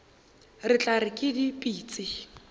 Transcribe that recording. re tla re ke dipitsi